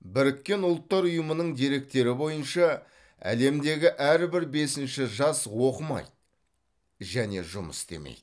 біріккен ұлттар ұйымының деректері бойынша әлемдегі әрбір бесінші жас оқымайды және жұмыс істемейді